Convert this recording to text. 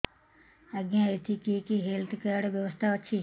ଆଜ୍ଞା ଏଠି କି କି ହେଲ୍ଥ କାର୍ଡ ବ୍ୟବସ୍ଥା ଅଛି